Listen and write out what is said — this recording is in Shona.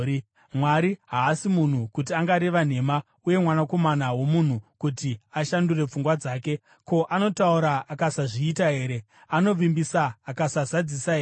Mwari haasi munhu, kuti angareva nhema, uye mwanakomana womunhu kuti ashandure pfungwa dzake. Ko, anotaura akasazviita here? Anovimbisa akasazadzisa here?